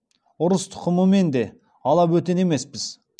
ұрыс тұқымымен де ала бөтен емеспіз